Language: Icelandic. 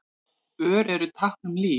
Ör eru tákn um líf.